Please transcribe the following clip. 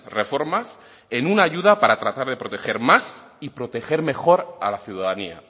reformas en una ayuda para tratar de proteger más y proteger mejor a la ciudadanía